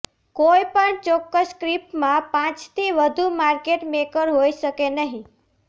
કોઇપણ ચોક્કસ સ્ક્રિપમાં પાંચથી વધુ માર્કેટ મેકર હોઇ શકે નહીં